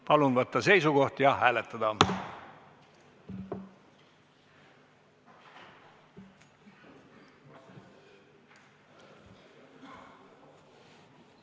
Palun võtta seisukoht ja hääletada!